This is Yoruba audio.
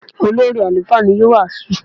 Olórí àlùfáà ni yóò wàásù.